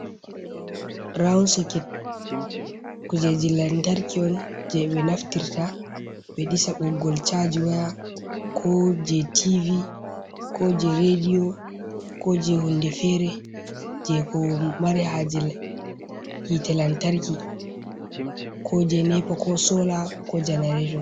Raun soket. Kujeji lantarki on je be naftirta be ɗisa boggol chaji waya. Ko je tivi, ko je redio, ko je hunɗe fere je ko mare haje hite lantarki. Ko je nepa ko sola ko janarato.